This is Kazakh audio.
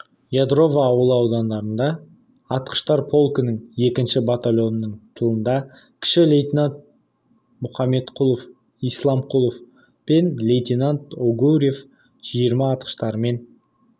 ядрово ауылы ауданында атқыштар полкінің екінші батальонының тылында кіші лейтенант мұқаметқұл исламқұлов пен лейтенант огуреев жиырма атқыштарымен